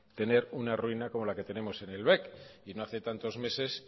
tener una ruina como la que tenemos en el bec y no hace tantos meses